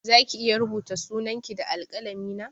Zaki iya rubuta sunan ki da alƙalami na?